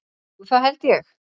Jú, það held ég.